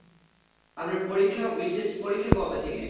আপনার পরীক্ষা BCS পরীক্ষা কবে থেকে?